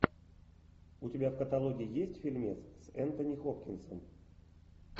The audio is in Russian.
у тебя в каталоге есть фильмец с энтони хопкинсом